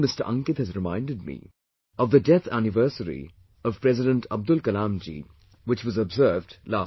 Ankit has reminded me of the death anniversary of President Abdul Kalamji, which was observed last week